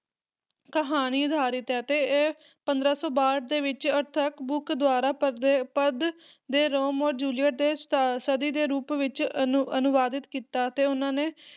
ਕਹਾਣੀ ਅਧਾਰਿਤ ਹੈ ਤੇ ਇਹ ਪੰਦਰਾਂ ਸੌ ਬਾਹਠ ਦੇ ਵਿੱਚ ਆਰਥਰ ਬਰੁਕ ਦੁਆਰਾ ਪਦੇ ਪਦ ਦੇ ਰੋਮੀਸ ਅਤੇ ਜੂਲੀਅਟ ਦੇ ਸਾ ਸਦੀ ਦੇ ਰੂਪ ਵਿੱਚ ਅਨੁ ਅਨੁਵਾਦਿਦ ਕੀਤਾ ਤੇ ਉਹਨਾਂ ਨੇ